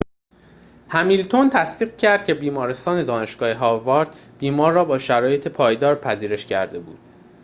همیلتون تصدیق کرد که بیمارستان دانشگاه هاوارد بیمار را با شرایط پایدار پذیرش کرده بود